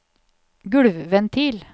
gulvventil